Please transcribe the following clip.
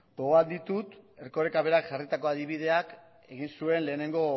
gogoan ditut erkorekak berak jarritako adibideak egin zuen lehenengo